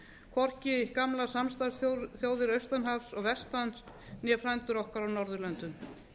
hvorki gamlar samstarfsþjóðir austan hafs og vestan né frændur okkar á norðurlöndum